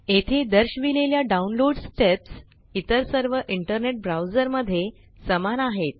येथे दर्शविलेल्या download steps इतर सर्व इंटरनेट ब्राउज़र मध्ये समान आहेत